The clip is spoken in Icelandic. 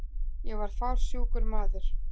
Ég var fársjúkur maður.